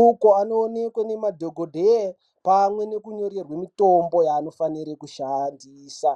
uko anoonekwa nemadhokodheya pamwe nekunyorerwe mitombo yaanofanire kushandisa.